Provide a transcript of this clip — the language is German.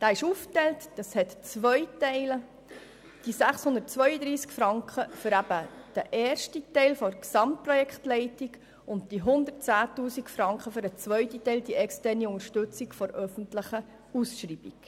Der Kredit ist in zwei Teile aufgeteilt, 632 000 Franken für den ersten Teil der Gesamtprojektleitung und 110 000 Franken für den zweiten Teil, die externe Unterstützung der öffentlichen Ausschreibung.